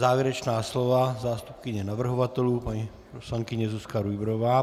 Závěrečná slova - zástupkyně navrhovatelů paní poslankyně Zuzka Rujbrová.